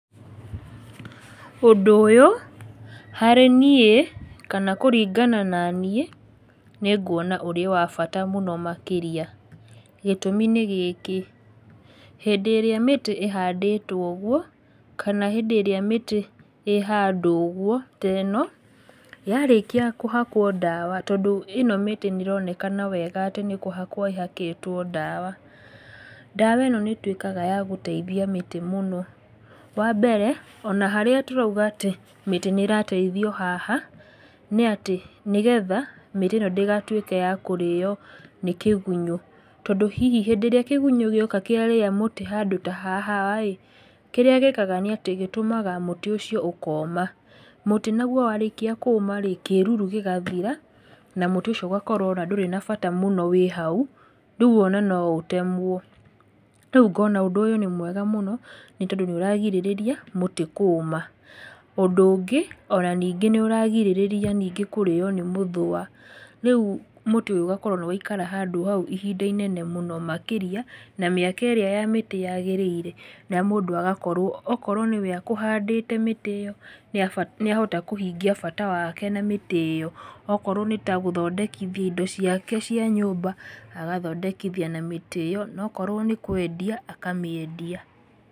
Ũndũ ũyũ harĩ niĩ, kana kũringana na niĩ, nĩ nguona ũrĩ ya bata mũno makĩria, gĩtũmi nĩ gĩkĩ, hĩndĩ ĩrĩa mĩtĩ ĩhandĩtwo ũguo, kana hĩndĩ ĩrĩa mĩtĩ yahandwo ũguo, te no, yarĩkia kũhakwo ndawa tondũ ĩno mĩtĩ nĩ ĩronekana wega atĩ nĩ kũhakwo ĩhakĩtwo ndawa, ndawa ĩno nĩ ĩtuĩkaga ya gũteithia mĩtĩ mũno, wambere ona harĩa tũrauga atĩ mĩtĩ nĩ ĩrateithio haha, nĩ atĩ nĩgetha mĩtĩ ĩno ndĩgatuĩke ya kũrĩo nĩ kĩgunyũ, tondũ hihi hĩndĩ ĩrĩa kĩgunyũ gĩoka kĩarĩa mũtĩ handũ ta haha rĩ, kĩrĩa gĩkaga nĩ atĩ gĩtũmaga mũtĩ ũcio ũkoma, mũtĩ naguo warĩkia kũũma rĩ, kĩruru gĩgathira na mũtĩ ũcio ũgakorwo ona ndũrĩ na bata mũno wĩ hau, rĩu ona no ũtemwo, rĩu ngona ũndũ ũyũ nĩ mwega mũno, nĩ tondũ nĩ ũragirĩrĩria mũtĩ kũũma, ũndũ ũngĩ, ona ningĩ nĩ ũragirĩrĩria ningĩ kũrĩo nĩ mũthũa, rĩu mũtĩ ũyũ ũgakorwo nĩ waikara handũ hau ihinda inene mũno makĩria, na mĩaka ĩrĩa ya mĩtĩ yagĩrĩire, na mũndũ agakorwo okorwo nĩwe akũhandĩte mĩtĩ ĩyo, nĩ ahota kũhingia bata wake na mĩtĩ ĩyo, okorwo nĩ ta gũthondekithia indo ciake cia nyũmba, agathondekithia na mĩtĩ ĩyo, nokorwo nĩ kwendia, akamĩendia.